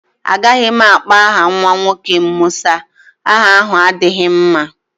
Agaghị m akpọ aha nwa nwoke m Musa. Aha ahụ adighị m mma.